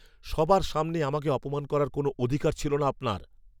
সবার সামনে আমাকে অপমান করার কোনো অধিকার ছিল না আপনার।